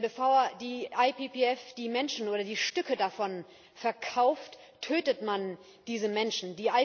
Denn bevor die IPPF die Menschen oder die Stücke davon verkauft, tötet man diese Menschen.